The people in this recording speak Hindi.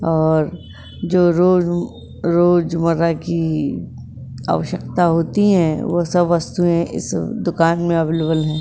और जो रोज रोज आवश्यकता होती है वो सब वस्तुए इस दूकान में अवेलेबल है।